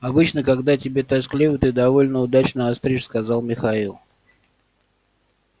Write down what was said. обычно когда тебе тоскливо ты довольно удачно остришь сказал михаил